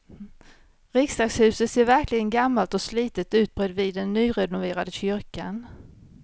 Riksdagshuset ser verkligen gammalt och slitet ut bredvid den nyrenoverade kyrkan.